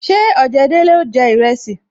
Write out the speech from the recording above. Ṣé ojedele ó jẹ iresi